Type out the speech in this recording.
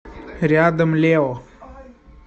рядом лео